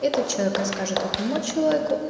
этот человек расскажет одному человеку